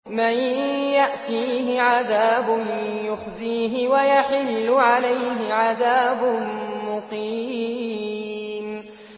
مَن يَأْتِيهِ عَذَابٌ يُخْزِيهِ وَيَحِلُّ عَلَيْهِ عَذَابٌ مُّقِيمٌ